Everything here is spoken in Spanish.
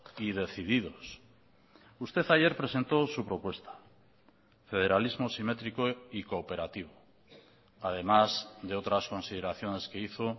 y decididos usted ayer presentó su propuesta federalismo simétrico y cooperativo además de otras consideraciones que hizo